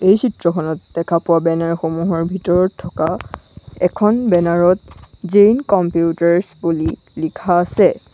এই চিত্ৰখনত দেখা পোৱা বেনাৰ সমূহৰ ভিতৰত থকা এখন বেনাৰ ত জৈন কম্পিউটাৰছ্ বুলি লিখা আছে।